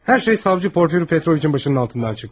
Hər şey savcı Porfiri Petroviçin başının altından çıxdı.